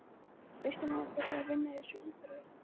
Kristján Már: Hvernig er að vinna í þessu umhverfi?